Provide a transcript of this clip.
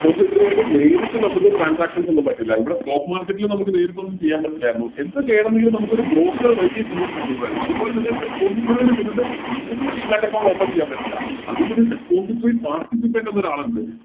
Depository ആയിട്ട് നേരിട്ട് നമുക്ക് Transactions ഒന്നും പറ്റില്ല ഇവിടെ Stock market ൽ നേരിട്ട് നമുക്കൊന്നും ചെയ്യാൻ പറ്റില്ലായിരുന്നു എന്ത് ചെയ്യണമെങ്കിലും നമുക്കൊരു Broker വഴിയേ ചെയ്യാൻ പറ്റുള്ളൂ ആയിരുന്നു അതുപോലെ തന്നെ Depository ൽ ചെന്നിട്ട് നമുക്കൊരു Demat account open ചെയ്യാൻ പറ്റില്ല അതിനൊരു Depository participant എന്നൊരാളിണ്ട്